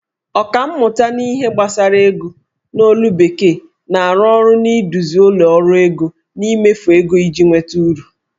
Ọkammụta n'ihe gbasara ego. n'olu bekee, na-arụ ọrụ n'ịduzi ụlọ ọrụ ego n'imefu ego iji nweta uru